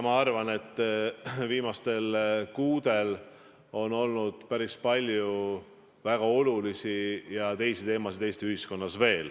Ma arvan, et viimastel kuudel on olnud Eesti ühiskonnas veel päris palju väga olulisi ja teisi teemasid.